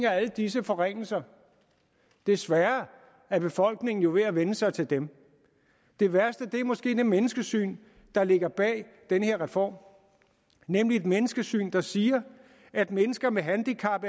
er alle disse forringelser desværre er befolkningen jo ved at vænne sig til dem det værste er måske det menneskesyn der ligger bag den her reform nemlig et menneskesyn der siger at mennesker med handicap